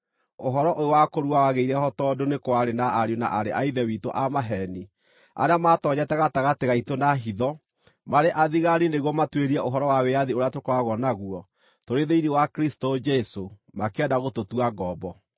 Ũhoro ũyũ wa kũrua wagĩire ho tondũ nĩ kwarĩ na ariũ na aarĩ a Ithe witũ a maheeni arĩa maatoonyete gatagatĩ gaitũ na hitho marĩ athigaani nĩguo matuĩrie ũhoro wa wĩyathi ũrĩa tũkoragwo naguo tũrĩ thĩinĩ wa Kristũ Jesũ, makĩenda gũtũtua ngombo.